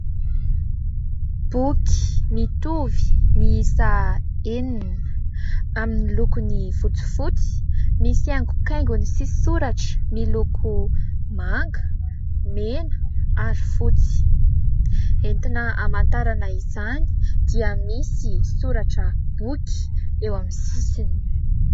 Boky mitovy miisa enina amin'ny lokony fotsifotsy misy haingokaingony sy soratra miloko manga, mena ary fotsy. Entina hamantarana izany dia misy soratra : boky eo amin'ny sisiny.